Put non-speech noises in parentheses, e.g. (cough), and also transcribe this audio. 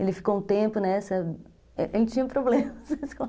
Ele ficou um tempo nessa... (laughs) A gente tinha problemas na escola.